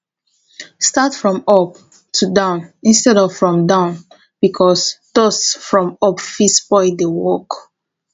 start from up to down instead of from down because dust from up fit spoil di work